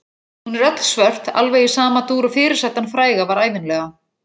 Hún er öll svört, alveg í sama dúr og fyrirsætan fræga var ævinlega.